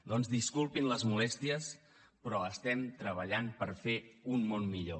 doncs disculpin les molèsties però estem treballant per fer un món millor